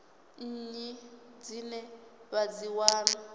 nnyi dzine vha dzi wana